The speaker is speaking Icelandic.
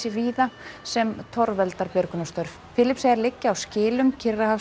víða sem torveldar björgunarstörf Filippseyjar liggja á skilum